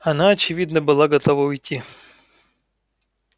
она очевидно была готова уйти